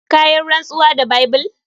Kayinrantsuwa da Bible.